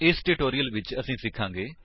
ਇਸ ਟਿਊਟੋਰਿਅਲ ਵਿੱਚ ਅਸੀ ਸਿਖਾਂਗੇ